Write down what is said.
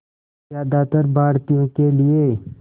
ज़्यादातर भारतीयों के लिए